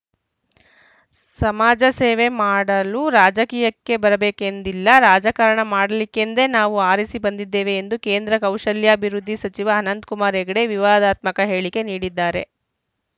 ಸಮಾಜಸೇವೆ ಮಾಡಲು ರಾಜಕೀಯಕ್ಕೆ ಬರಬೇಕೆಂದಿಲ್ಲ ರಾಜಕಾರಣ ಮಾಡಲಿಕ್ಕೆಂದೇ ನಾವು ಆರಿಸಿ ಬಂದಿದ್ದೇವೆ ಎಂದು ಕೇಂದ್ರ ಕೌಶಲ್ಯಾಭಿವೃದ್ಧಿ ಸಚಿವ ಅನಂತಕುಮಾರ ಹೆಗಡೆ ವಿವಾದಾತ್ಮಕ ಹೇಳಿಕೆ ನೀಡಿದ್ದಾರೆ